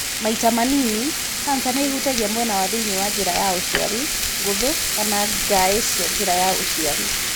Maita manini, kanca nĩ ĩhutagia mwena wa thĩinĩ wa njĩra ya ũciari, ngũthũ, kana ngaĩ cia njĩra ya ũciari.